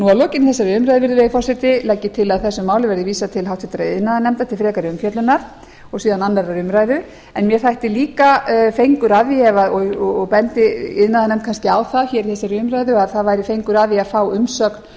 að lokinni þessari umræðu virðulegi forseti legg ég til að þessu máli verði vísað til háttvirtrar iðnaðarnefndar til frekari umfjöllunar og síðan aðra umræðu mér þætti líka fengur að því og bendi iðnaðarnefnd kannski á það hér í þessari umræðu að það væri fengur að því að fá umsögn